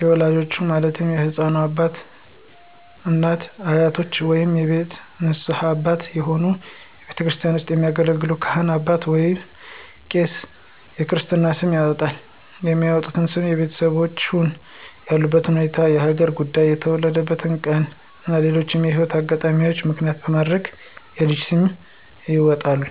የወላጆቹ ማለትም የህፃኑ እናት፣ አባት፣ አያቶች ወይንም የቤተሰብ ንስሀ አባት የሆኑ ቤተክርስቲያን ውስጥ የሚያገለግል ካህን አባት ወይንም ቄስ የክርስትና ስም ያወጣል። የሚወጣውም ስም የቤተሰቦቹን ያሉበት ሁኔታ፣ የሀገር ጉዳይ፣ የተወለደበትን ቀን እና ሌሎችንም የህይወት አጋጣሚዎች ምክንያት በማድረግ የልጅ ስም ይወጣል።